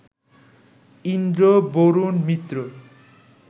Indra, Varuna, Mitra